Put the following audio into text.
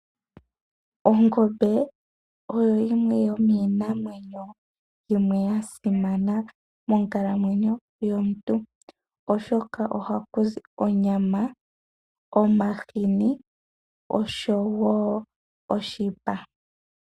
Ongombe oyo yimwe yomiinamwenyo yimwe ya simana monkalamwenyo yomuntu, oshoka ohaku zi onyama, omahini oshowo oshipa.